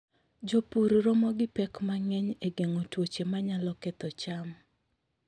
Jopur romo gi pek mang'eny e geng'o tuoche manyalo ketho cham.